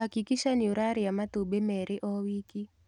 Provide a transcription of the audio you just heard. Hakikisha nĩũrarĩa matumbĩmerĩo wiki.